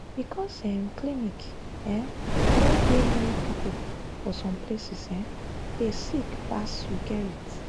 because um clinic um no dey near people for some places um dey sick pass you gerrit?